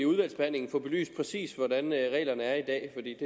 udvalgsbehandlingen få belyst præcis hvordan reglerne er i dag